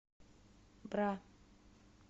бра